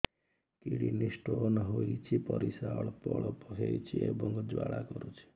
kidney stone ହୋଇଛି ପରିସ୍ରା ଅଳ୍ପ ଅଳ୍ପ ହେଉଛି ଏବଂ ଜ୍ୱାଳା କରୁଛି